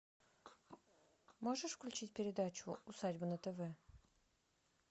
можешь включить передачу усадьба на тв